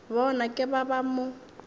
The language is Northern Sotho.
bona ke ba ba mo